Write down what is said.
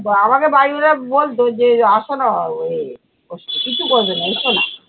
তো আমাকে বাড়ির ওরা বলতো যে আসো না আহ ও কিছু করবে না এস না।